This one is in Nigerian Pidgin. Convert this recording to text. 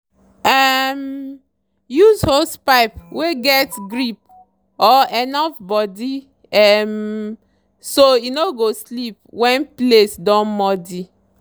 um use hosepipe wey get grip or rough body um so e no go slip when place don muddy.